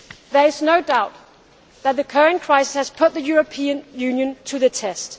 crisis. There is no doubt that the current crisis has put the European Union to